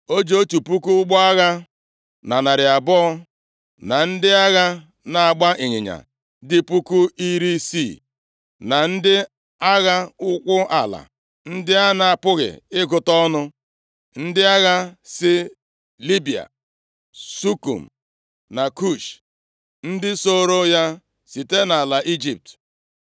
O ji otu puku ụgbọ agha na narị abụọ, na ndị agha na-agba ịnyịnya dị puku iri isii, na ndị agha ụkwụ ala, ndị a na-apụghị ịgụta ọnụ, ndị agha si Libịa, Sukim na Kush, ndị sooro ya site nʼala Ijipt.